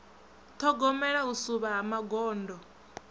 ṱhogomela u suvha ha magondo